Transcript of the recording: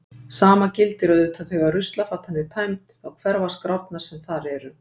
Sama gildir auðvitað þegar ruslafatan er tæmd, þá hverfa skrárnar sem þar eru.